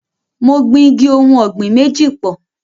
Mo gbin igi ohùn ọ̀gbìn méjì pọ̀.